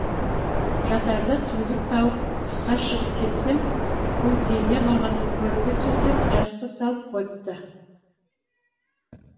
жатарда түндік тауып тысқа шығып келсем күлзейне маған көрпе төсеп жастық салып қойыпты